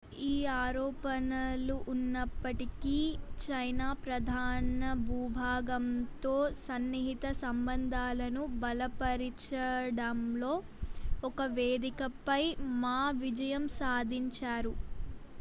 ఈ ఆరోపణలు ఉన్నప్పటికీ చైనా ప్రధాన భూభాగంతో సన్నిహిత సంబంధాలను బలపరిచడంలో ఒక వేదికపై మా విజయం సాధించారు